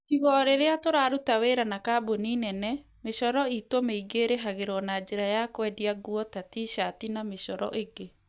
Tiga o rĩrĩa tũraruta wĩra na kambũni nene, mĩcoro iitũ mĩingĩ ĩrĩhagĩrwo na njĩra ya kwendia nguo ta t-shirt na mĩcoro ĩngĩ.